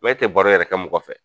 e tɛ baro yɛrɛ kɛ mɔgɔ fɛ.